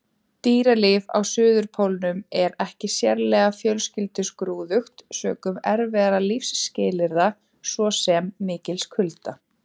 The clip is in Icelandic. Dýralíf á Suðurpólnum er ekki sérlega fjölskrúðugt sökum erfiðra lífsskilyrða, svo sem mikils kulda.